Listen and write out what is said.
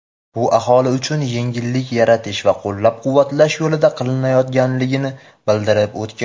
bu aholi uchun yengillik yaratish va qo‘llab-quvvatlash yo‘lida qilinayotganligini bildirib o‘tgan.